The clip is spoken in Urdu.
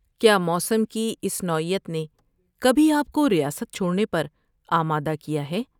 کیا موسم کی اس نوعیت نے کبھی آپ کو ریاست چھوڑنے پر آمادہ کیا ہے؟